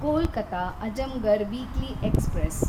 Kolkata Azamgarh weekly express